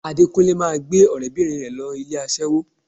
Adékúnlé máa gbé ọ̀rẹ́bìnrin rẹ̀ lọ ilé aṣẹ́wó